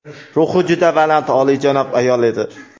Ruhi juda baland, oliyjanob ayol edi.